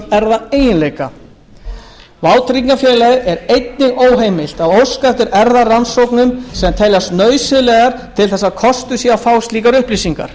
erfðaeiginleika vátryggingafélagi er einnig óheimilt að óska eftir erfðarannsóknum sem teljast nauðsynlegar til þess að kostur sé á að fá slíkar upplýsingar